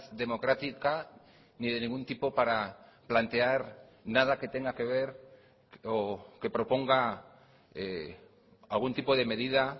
democrática ni de ningún tipo para plantear nada que tenga que ver o que proponga algún tipo de medida